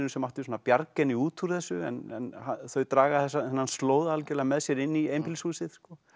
sem átti að bjarga henni út úr þessu en þau draga þennan slóða algjörlega með sér inn í einbýlishúsið